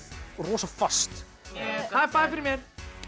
rosa fast high Five fyrir mér